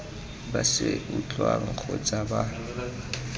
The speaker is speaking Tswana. ba se utlwang kgotsa ba